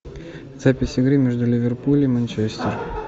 запись игры между ливерпуль и манчестер